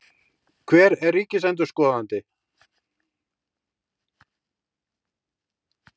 Hver er ríkisendurskoðandi?